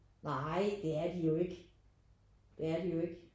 Nej det er de jo ikke det er de jo ikke